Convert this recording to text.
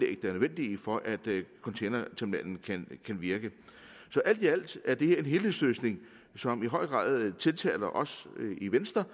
er nødvendige for at containerterminalen kan virke så alt i alt er det her en helhedsløsning som i høj grad tiltaler os i venstre